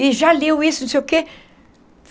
E já leu isso, não sei o quê.